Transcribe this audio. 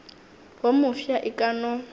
wo mofsa e ka no